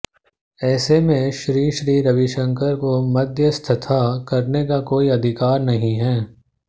ऐसे में श्री श्री रविशंकर को मध्यस्थता करने का कोई अधिकार नहीं है